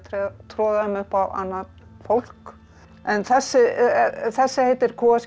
troða þeim upp á annað fólk þessi þessi heitir